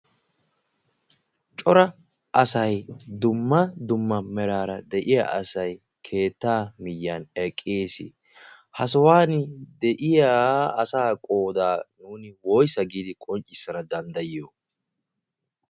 cora asai dumma dumma meraara de'iya asay keetta miyyan eqqiis ha sohuwan de'iya asaa qoodaa nuuni woisa giidi qonccissana danddayiyo?